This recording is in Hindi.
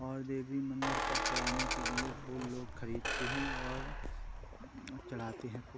और देवी मंदिर पर चढ़ाने के लिए फूल लोग खरीदते हैं और चढ़ाते हैं फूल।